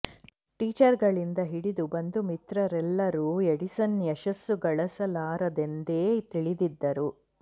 ಟೀಚರ್ಗಳಿಂದ ಹಿಡಿದು ಬಂಧು ಮಿತ್ರರೆಲ್ಲರೂ ಎಡಿಸನ್ ಯಶಸ್ಸು ಗಳಿಸಲಾರರೆಂದೇ ತಿಳಿದಿದ್ದರು